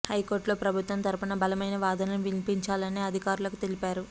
హైకోర్టులో ప్రభుత్వం తరపున బలమై వాదనలు వినిపించాలని అధికారులకు తెలిపారు